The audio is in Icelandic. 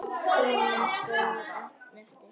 Gunnar stóð einn eftir.